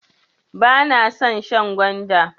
Bana son shan gwanda.